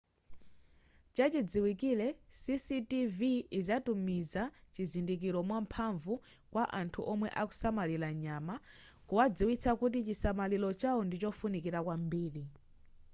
chachidziwikire cctv izatumiza chizindikiro mwamphamvu kwa anthu omwe akusamalira nyama kuwadziwitsa kuti chisamaliro chawo ndichofunikira kwambiri